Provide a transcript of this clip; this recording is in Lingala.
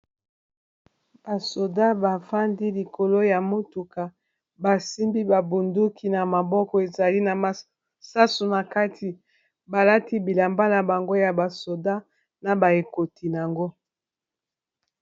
basoda bafandi likolo ya mutuka basimbi babunduki na maboko ezali na masasu na kati balati bilamba na bango ya basoda na baekoti yango